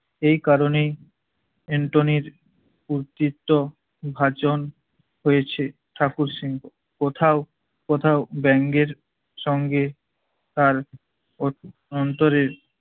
এই কারণে এন্টোনির উতৃত্ব ভাষণ হয়েছে ঠাকুর সিং। কোথাও কোথাও ব্যাঙের সঙ্গে তার অ~ অন্তরের